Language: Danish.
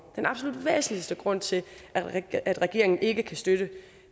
den absolut væsentligste grund til at regeringen ikke kan støtte